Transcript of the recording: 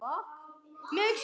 Lítil forrit